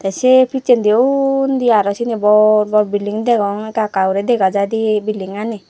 se pejede uni aaro seyeni bor bor building degong eka eka guri degajai de building ani.